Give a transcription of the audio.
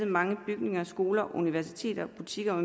mange bygninger skoler og universiteter butikker